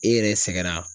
E yɛrɛ sɛgɛnra